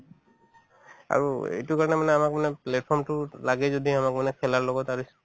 আৰু এইটোৰ কাৰণে মানে আমাক মানে platform তো লাগে যদি আমাক মানে খেলাৰ লগত আৰু